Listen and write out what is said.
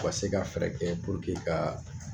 U ka se ka fɛɛrɛ kɛ puruke kaa